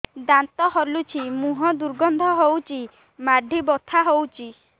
ଦାନ୍ତ ହଲୁଛି ମୁହଁ ଦୁର୍ଗନ୍ଧ ହଉଚି ମାଢି ବଥା ହଉଚି